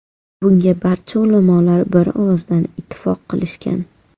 Bunga barcha ulamolar bir ovozdan ittifoq qilishgan.